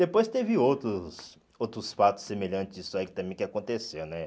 Depois teve outros outros fatos semelhantes disso aí também que aconteceu, né?